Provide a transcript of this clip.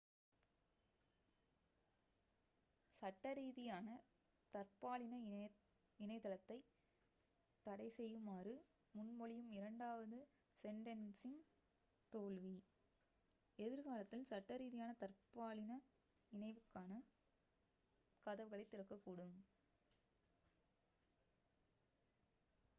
சட்டரீதியான தற்பாலின இணைதலைத் தடைசெய்யுமாறு முன்மொழியும் இரண்டாவது செண்டென்ஸின் தோல்வி எதிர்காலத்தில் சட்டரீதியான தற்பாலின இணைவுக்கான கதவுகளைத் திறக்கக்கூடும்